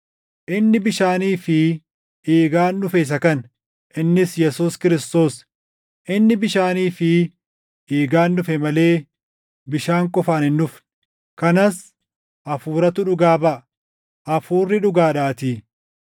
Inni bishaanii fi dhiigaan dhufe isa kana; innis Yesuus Kiristoos. Inni bishaanii fi dhiigaan dhufe malee bishaan qofaan hin dhufne. Kanas Hafuuratu dhugaa baʼa; Hafuurri dhugaadhaatii.